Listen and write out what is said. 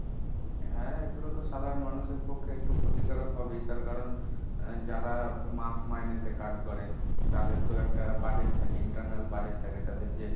হ্যাঁ এগুলো তো সাধারণ মানুষের পক্ষে একটু ক্ষতিকারক হবেই তার কারণ, যারা মাস মাইনেতে কাজ করে, তাদের তো একটা budget থাকে internal budget থাকে তাদের যে,